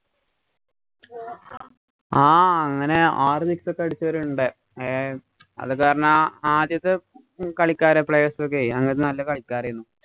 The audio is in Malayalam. അങ്ങനെ ആറു six ഒക്കെ അടിച്ചവരുണ്ട്. ഏ അതുകാരണം ആദ്യത്തെ കളിക്കാര് player's ഒക്കെ അങ്ങനത്തെ നല്ല കളിക്കാരയിരുന്നു.